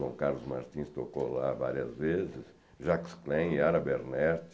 João Carlos Martins tocou lá várias vezes, Jacques Klein, Ara Bernert.